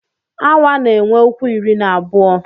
Awa na-enwe ụkwụ iri na abụọ.